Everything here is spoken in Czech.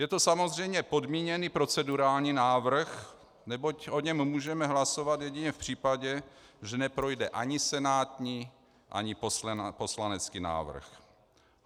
Je to samozřejmě podmíněný procedurální návrh, neboť o něm můžeme hlasovat jedině v případě, že neprojde ani senátní ani poslanecký návrh.